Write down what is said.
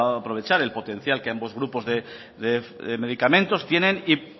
aprovechar el potencial que ambos grupos de medicamentos tienen y